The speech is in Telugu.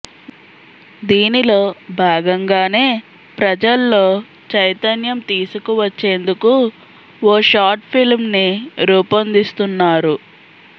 దీనిలో భాగంగానే ప్రజల్లో చైతన్యం తీసుకువచ్చేందుకు ఓ షార్ట్ ఫిల్మ్ ని రూపొందిస్తున్నారు